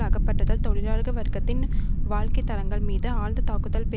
அகற்றப்படுதல் தொழிலாளர் வர்க்கத்தின் வாழ்க்கைத்தரஙக்கள் மீது ஆழ்ந்த தாக்குதல்கள்